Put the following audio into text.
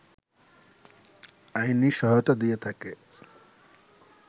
আইনি সহায়তা দিয়ে থাকে